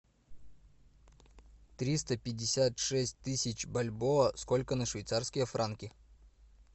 триста пятьдесят шесть тысяч бальбоа сколько на швейцарские франки